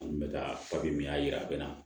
N kun bɛ ka min y'a jira a bɛ na